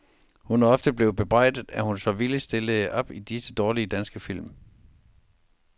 Hun er ofte blevet bebrejdet, at hun så villigt stillede op i disse dårlige danske film.